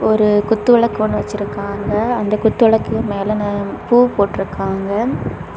ஒரு குத்துவிளக்கு ஒன்னு வச்சிருக்காங்க அந்த குத்துவிளக்கு மேல பூ போட்டுருக்காங்க.